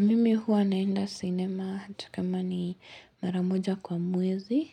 Mimi huwa naenda sinema hata kama ni mara moja kwa mwezi.